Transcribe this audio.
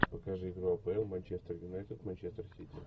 покажи игру апл манчестер юнайтед манчестер сити